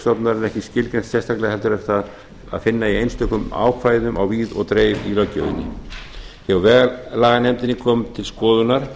stofnunarinnar ekki skilgreint sérstaklega heldur er það að finna í einstökum ákvæðum á víð og dreif í löggjöfinni hjá vegalaganefndinni kom til skoðunar